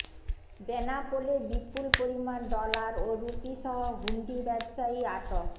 বেনাপোলে বিপুল পরিমাণ ডলার ও রুপিসহ হুন্ডি ব্যবসায়ী আটক